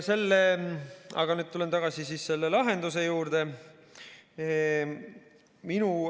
Nüüd tulen tagasi selle lahenduse juurde.